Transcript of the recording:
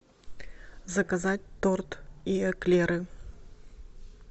заказать торт и эклеры